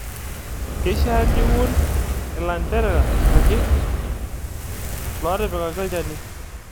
Keishaa niun ilanterera ake lootipikaki olchani.